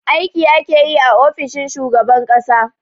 Aiki ake yi a ofishin shugaban ƙasa